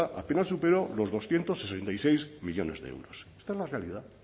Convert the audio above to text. apenas superó los doscientos sesenta y seis millónes de euros esta es la realidad